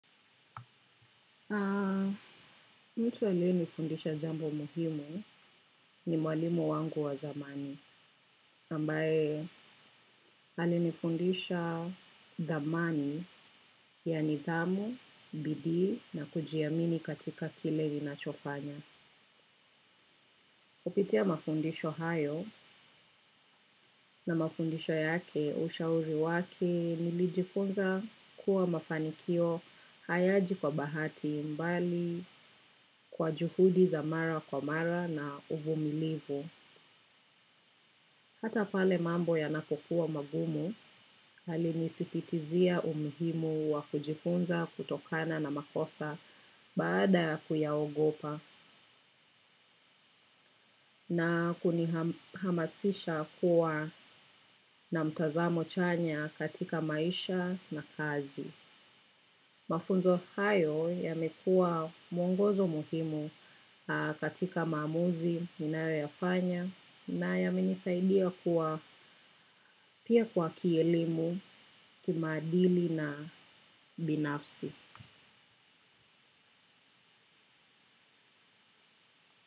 Mtu aliyenifundisha jambo muhimu ni mwalimu wangu wa zamani, ambaye alini fundisha dhamani ya nithamu, bidii na kujiamini katika kile linachofanya. Kupitia mafundisho hayo na mafundisho yake ushauri wake nilijifunza kuwa mafanikio hayaji kwa bahati mbali kwa juhudi za mara kwa mara na uvu milivu. Hata pale mambo ya napokuwa magumu alinisisitizia umuhimu wa kujifunza kutokana na makosa baada kuyaogopa na kunihamasisha kuwa na mtazamo chanya katika maisha na kazi. Mafunzo hayo ya mekua mwongozo muhimu katika mamuzi, ninayo yafanya na ya menisaidia kwa pia kwa kielimu kima adili na binafsi.